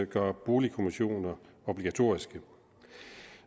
gøre boligkommissioner obligatoriske